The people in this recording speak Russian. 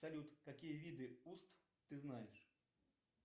салют какие виды уст ты знаешь